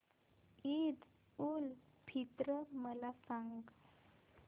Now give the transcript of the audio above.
ईद उल फित्र मला सांग